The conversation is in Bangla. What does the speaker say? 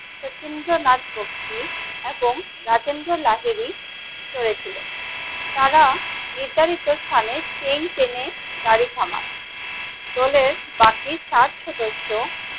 শচীন্দ্রনাথ বক্সী এবং রাজেন্দ্র লাহিড়ী করেছিলেন তারা নির্ধারিত স্থানএ সেই ট্রেন এ গাড়ি থামান দলের বাকি সাত সদস্য ।